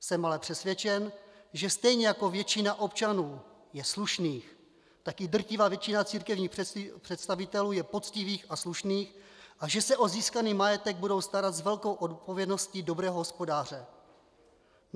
Jsem ale přesvědčen, že stejně jako většina občanů je slušných, tak i drtivá většina církevních představitelů je poctivých a slušných a že se o získaný majetek budou starat s velkou odpovědností dobrého hospodáře.